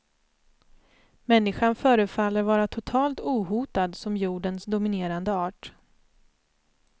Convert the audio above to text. Människan förefaller vara totalt ohotad som jordens dominerande art.